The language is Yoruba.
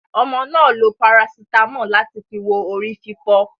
Ọmọ náà lo parasitamọ́ọ̀ láti fi wo orí fífọ́.